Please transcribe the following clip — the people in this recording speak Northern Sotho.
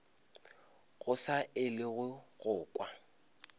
go sa elwego go kwa